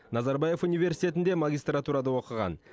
назарбаев университетінде магистратурада оқыған